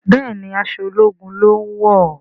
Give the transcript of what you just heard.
Béèni aṣọ ológun lón wọ.